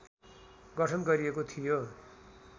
गठन गरिएको थियो